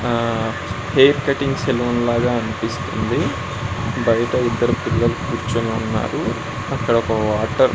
ఆ hair cutting salon లాగా అనిపిస్తుంది బయట ఇద్దరు పిల్లలు కూర్చుని ఉన్నారు అక్కడ ఒక వాటర్ .